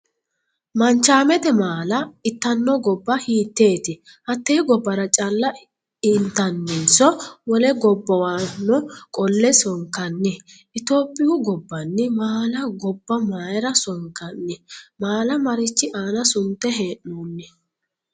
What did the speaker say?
Manchaamete maalla itano gobba hiiteeti? Hatee gobara calla intaninso wole gobbawano qole sonkanni? Itophiyu gobbanni maalla gobba mayira sonkanni? Maalla marichi aanna sunte hee'noonni?